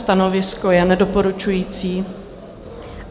Stanovisko je nedoporučující.